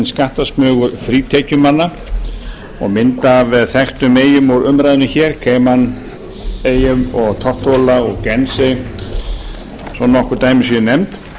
skattasmugur frítekjumanna og mynd af þekktum eyjum úr umræðunni hér cayman eyjum tortóla og gense svo nokkur dæmi séu nefnd